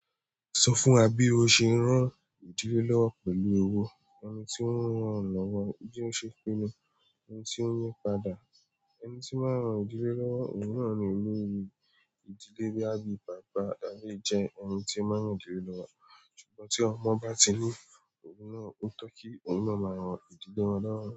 Sọ fún wa bí o ṣe ń ran ìdílé lọ́wọ́ pẹ̀lú owó. Ẹni tí ó ń ran lọ́wọ́ bí ó ṣe pinnu, ẹni tí ó ń yípadà. Ẹni tí máa ń ran ìdílé lọ́wọ́ òun náà ni olórí ìdílé bọ́yá bí bàbá, àbí jẹ́ ẹni tí máa ń ran ìdílé lọ́wọ́. Ṣùgbọ́n tí ọmọ bá ti ní oun náà, ó tọ́ kí òun náà máa rán ìdílé wọn lọ́wọ́